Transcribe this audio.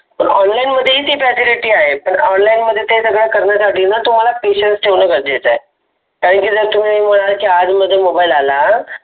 online मधी ही ती Facility आहे. पण online मध्ये ते सर्व करण्याच्या आधी न तुम्हाला Patience ठेवाल त देत आहे. कारण तुम्ही मनाल आज मधी mobile आला.